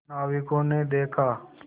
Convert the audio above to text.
नाविकों ने देखा